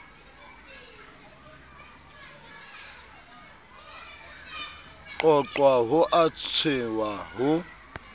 qoqwa ho a tshehwa ho